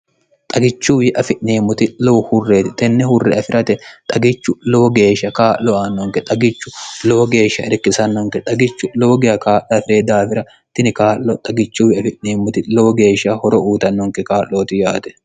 xagichuwi afi'neemmoti lowo hurreeti tenne hurre afi'rate xagichu lowo geeshsha kaa'lo aannonke xagichu lowo geeshsha irikkisannonke xagichu lowo giya kaa'lo afi're daafira tini kaa'lo xagichuwi afi'neemmoti lowo geeshsha horo uutannonke kaa'looti yaate